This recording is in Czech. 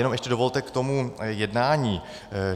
Jenom ještě dovolte k tomu jednání.